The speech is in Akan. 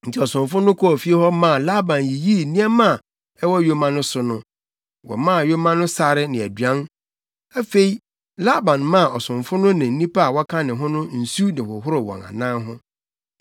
Enti ɔsomfo no kɔɔ fie hɔ maa Laban yiyii nneɛma a ɛwɔ yoma no so no. Wɔmaa yoma no sare ne aduan, afei Laban maa ɔsomfo no ne nnipa a wɔka ne ho no nsu de hohoroo wɔn anan ho.